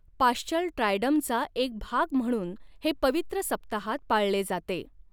Paschal ट्रायडमचा एक भाग म्हणून हे पवित्र सप्ताहात पाळले जाते.